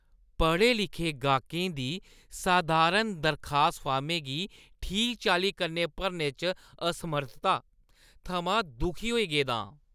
पढ़े लिखे गाह्कें दी सधारण दरखास्त फार्मै गी ठीक चाल्ली कन्नै भरने च असमर्थता थमां दुखी होई गेदा आं।